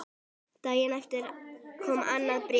Daginn eftir kom annað bréf.